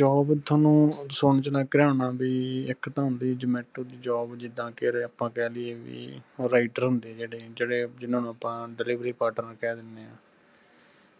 job ਥੋਨੂੰ ਸੁਨਣ ਚ ਲੱਗ ਰਿਆ ਹੋਣਾ ਵੀ ਇਕ ਤਾਂ ਹੁੰਦੀ ਆ zomato ਦੀ job ਜਿਦਾਂ ਆਪਾਂ ਕਹਿ ਦੀਏ ਕਿ ਉਹ rider ਹੁੰਦੇ ਆ ਜੇੜ੍ਹੇ ਜਿਨ੍ਹਾਂ ਨੂੰ ਆਪਾਂ delivery partner ਕਹਿ ਦੀਨੇ ਆ